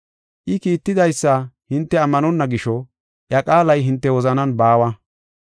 I kiittidaysa hinte ammanonna gisho iya qaalay hinte wozanan baawa.